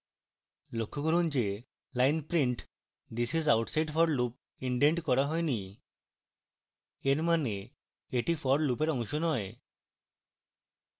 লক্ষ্য করুন যে line print this is outside forloop indented করা হয়নি